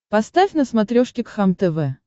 поставь на смотрешке кхлм тв